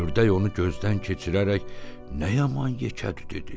Ördək onu gözdən keçirərək nə yaman yekədir dedi.